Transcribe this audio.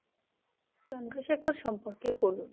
চন্দ্রশেখর সম্পর্কে বলুন?